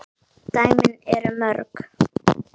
Dæmin eru mörg.